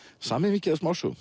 samið mikið af smásögum